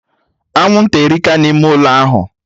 Anwụnta erika na ime ụlọ ahụ